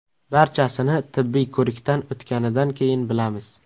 Barchasini tibbiy ko‘rikdan o‘tganidan keyin bilamiz.